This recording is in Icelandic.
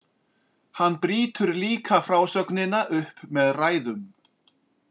Hann brýtur líka frásögnina upp með ræðum.